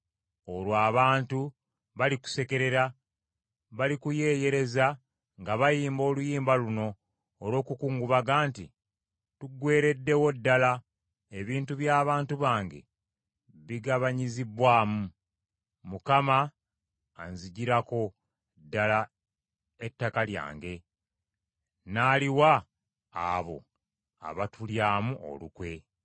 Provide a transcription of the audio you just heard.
Olwo abantu balikusekerera; Balikuyeeyereza nga bayimba oluyimba luno olw’okukungubaga nti: ‘Tugwereddewo ddala; ebintu by’abantu bange bigabanyizibbwamu. Mukama anziggirako ddala ettaka lyange, n’aliwa abo abatulyamu enkwe.’ ”